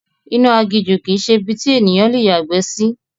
Inú aginjù kìí ṣe ibi tí ènìyàn le yàgbẹ́ sí